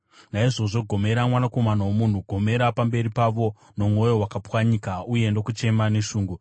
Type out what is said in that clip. “Naizvozvo, gomera, mwanakomana womunhu! Gomera pamberi pavo nomwoyo wakapwanyika uye nokuchema neshungu.